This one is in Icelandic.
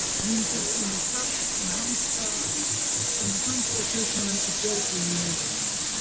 myndin sýnir safn um hansakaupmenn í björgvin í noregi